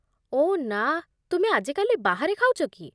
ଓଃ ନା, ତୁମେ ଆଜିକାଲି ବାହାରେ ଖାଉଛ କି?